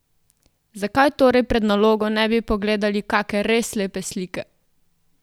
Zakaj torej pred nalogo ne bi pogledali kake res lepe slike?